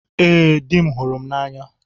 Ee, dị m hụrụ m n'anya.